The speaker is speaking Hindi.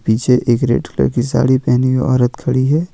पीछे एक रेड कलर की साड़ी पहनी हुई औरत खड़ी है।